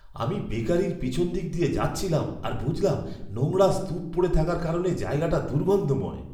আমি বেকারির পিছনদিক দিয়ে যাচ্ছিলাম আর বুঝলাম নোংরার স্তূপ পড়ে থাকার কারণে জায়গাটা দুর্গন্ধময়।